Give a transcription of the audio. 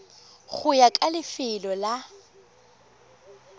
go ya ka lefelo la